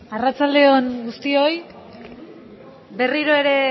arratsaldeon guztioi berriro ere